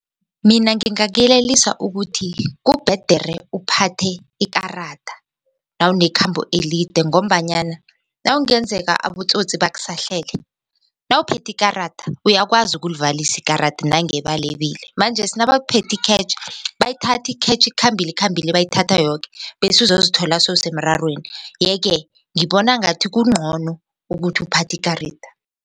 Mina ngingakyelelisa ukuthi kubhedere uphathe ikarada nawunekhambo elide ngombanyana nakungenzeka abotsotsi bakusahlele nawuphethe ikarada uyakwazi ukulivalisa ikarada nange balebile manjesi nabaphethikhetjhi bayithatha ikhetjhi ikhambile ikhambile bayithatha yoke bese uzozithola sowusemrarweni yeke ngibona ngathi kungcono ukuthi uphathe ikaridi.